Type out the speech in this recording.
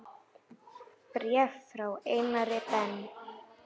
Bréf frá Einari Ben